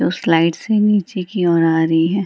वो स्लाइड से नीचे की ओर आ रही है।